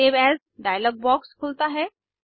save as dialogue box खुलता है